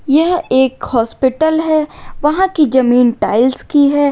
यह एक हॉस्पिटल है वहां की जमीन टाइल्स की है।